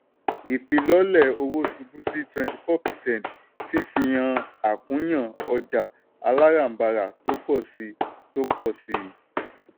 ìfilọ́lẹ̀ owó ṣubú sí twenty four percent fifi hàn àkúnya ọjà aláràbarà tó pọ̀ síi. tó pọ̀ síi.